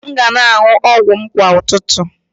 M ga na-aṅụ ọgwụ m kwa ụtụtụ